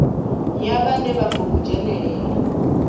ya vhane vha khou dzhenelela